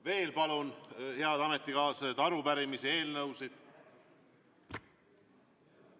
Veel palun, head ametikaaslased, arupärimisi ja eelnõusid.